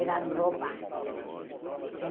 Eram roupas em